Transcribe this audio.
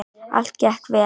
Allt gekk vel.